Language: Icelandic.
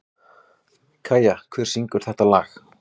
Kæja, hver syngur þetta lag?